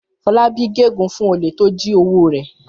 Fọlákẹ́ gégùn-ún fún olè tó jí owó rẹ̀.